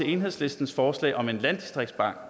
enhedslistens forslag om en landdistriktsbank